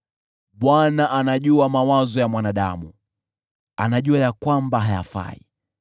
Bwana anajua mawazo ya mwanadamu; anajua kwamba ni ubatili.